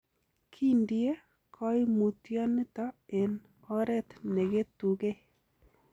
Kindie koimutioniton en oret neketugei.